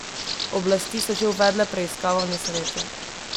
Oblasti so že uvedle preiskavo nesreče.